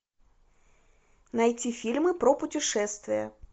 найти фильмы про путешествия